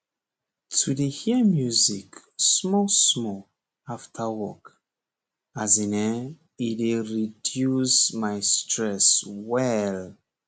to dey hear music small small after work as in ehnn he dey reduce my stress well